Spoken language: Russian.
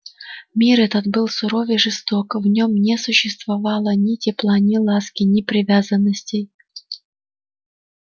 мир этот был суров и жесток в нём не существовало ни тепла ни ласки ни привязанностей